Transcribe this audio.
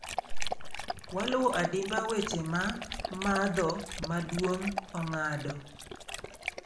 Waluwo adimba weche ma madho maduong' Ong'ado.